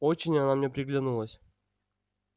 очень она мне приглянулась